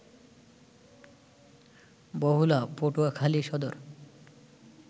Bahula, Patuakhali Sadar